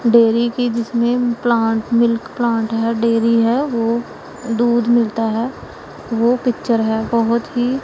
dairy की जिसमें plant milk plant है डेरी है वो दूध मिलता है वह पिक्चर है बहोत ही--